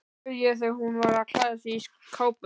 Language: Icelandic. spurði ég þegar hún var að klæða sig í kápuna.